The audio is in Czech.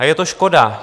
A je to škoda.